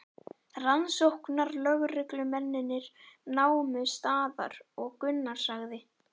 Rannsóknarlögreglumennirnir námu staðar og Gunnar sagði